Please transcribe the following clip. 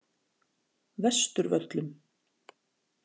Vesturvöllum